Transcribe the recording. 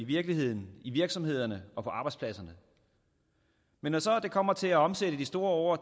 i virkeligheden i virksomhederne og på arbejdspladserne men når så det kommer til at omsætte de store ord